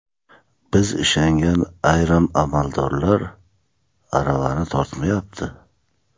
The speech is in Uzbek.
Biz ishongan ayrim amaldorlar aravani tortmayapti.